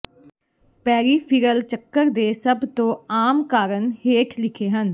peripheral ਚੱਕਰ ਦੇ ਸਭ ਤੋਂ ਆਮ ਕਾਰਨ ਹੇਠ ਲਿਖੇ ਹਨ